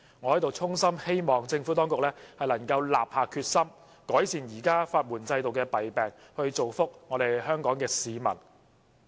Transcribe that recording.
我在此衷心希望政府當局能立下決心，改善現時法援制度的弊病，造福香港市民。